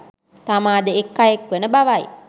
තමාද එක් අයෙක් වන බවයි.